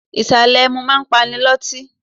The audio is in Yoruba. Ìsàlè ẹmu máa ń pani loti.